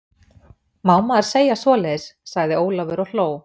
Má maður segja svoleiðis? sagði Ólafur og hló.